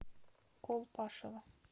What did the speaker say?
колпашево